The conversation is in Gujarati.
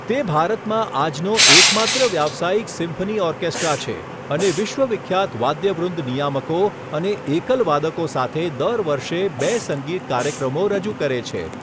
તે ભારતમાં આજનો એકમાત્ર વ્યાવસાયિક સિમ્ફની ઓર્કેસ્ટ્રા છે અને વિશ્વ વિખ્યાત વાદ્યવૃંદ નિયામકો અને એકલવાદકો સાથે દર વર્ષે બે સંગીત કાર્યક્રમો રજૂ કરે છે.